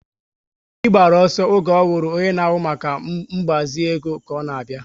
Obi gbara ọsọ oge ọhụrụ onye na ahụ maka ngbazi ego ka ọ na abịa